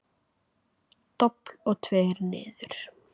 Dobl og tveir niður.